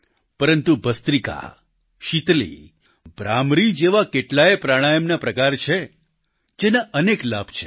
પરંતુ ભસ્ત્રિકા શિતલી ભ્રામરી જેવા કેટલાય પ્રાણાયામના પ્રકાર છે જેના અનેક લાભ છે